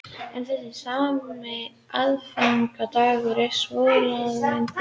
En þessi sami aðfangadagur er svohljóðandi í dagbókinni